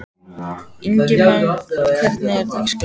Ingimagn, hvernig er dagskráin?